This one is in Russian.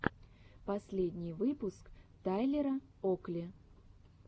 последний выпуск тайлера окли